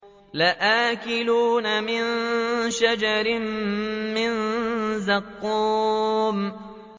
لَآكِلُونَ مِن شَجَرٍ مِّن زَقُّومٍ